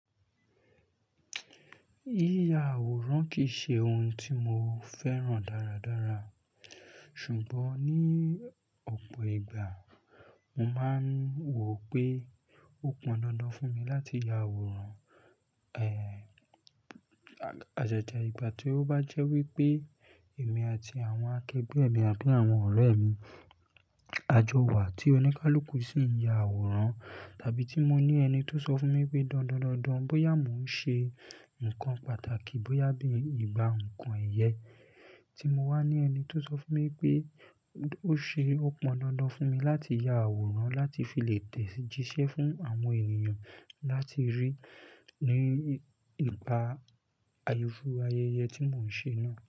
Yíya àwòrán kì í ṣe ohun tí mo fẹ́ràn dáradára, ṣùgbọ́n ní ọ̀pọ̀ ìgbà, mo máa ń wò pé ó pọn dandan fún mi láti ya àwòrán. Ehn, ajaja ìgbà tí ó bá jẹ́ wípé èmi àti àwọn akẹgbẹ́ mi àbí àwọn ọ̀rẹ́ mi, a jọ wà tí oníkálukú sì ń ya àwòrán tàbí tí mo ní ẹni tó sọ fún mi pé dandan dandan bóyá mò ń ṣe nǹkan pàtàkì, bóyá bí i ìgbà nǹkan ẹ̀yẹ tí mo wá ní ẹni tó sọ fún mi pé ó ṣe ó pọn dandan fún mi láti ya àwòrán láti fi lè tẹ̀jíṣẹ́ fún àwọn ènìyàn láti rí i ní ìgbà ayẹyẹ tí mò ń ṣe náà.